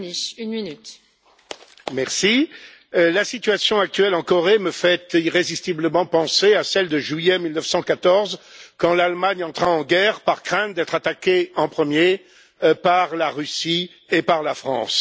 Madame la Présidente, la situation actuelle en Corée me fait irrésistiblement penser à celle de juillet 1914, quand l'Allemagne entra en guerre par crainte d'être attaquée en premier par la Russie et par la France.